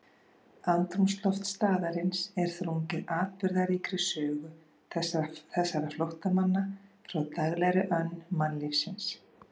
Andrúmsloft staðarins er þrungið atburðaríkri sögu þessara flóttamanna frá daglegri önn mannlífsins.